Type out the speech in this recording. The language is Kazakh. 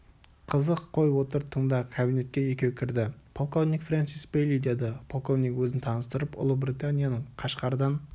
қызық қой отыр тыңда кабинетке екеу кірді полковник френсис бейли деді полковник өзін таныстырып ұлыбританияның қашқардан